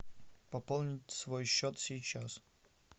пополнить свой счет сейчас